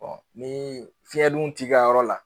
ni fiyɛn dun t'i ka yɔrɔ la.